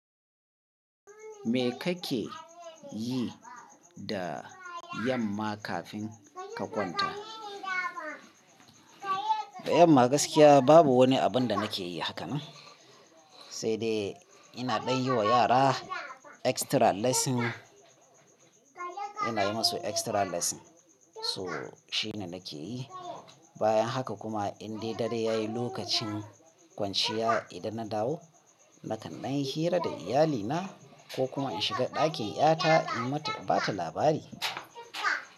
Me kake yi da yamma kafin ka kwanta? Da yamma gaskiya babu wani abin da nake yi haka nan, sai dai ina ɗai yi wa yara extra lesson. Ina yi musu extra lesson. So shine nake yi. Bayan haka kuma in dai dare yayi lokacin kwanciya, idan na dawo na kan danyi hira da iyalina ko kuma in shiga ɗakin ƴata in mata, ba ta labari.